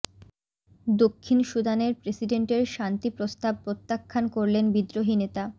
দক্ষিণ সুদানের প্রেসিডেন্টের শান্তি প্রস্তাব প্রত্যাখ্যান করলেন বিদ্রোহী নেতা